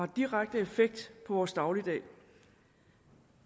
direkte effekt på vores dagligdag